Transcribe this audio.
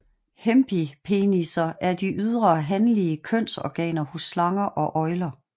Hemipenisser er de ydre hanlige kønsorganer hos slanger og øgler